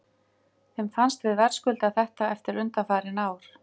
Mér fannst við verðskulda þetta eftir undanfarin ár.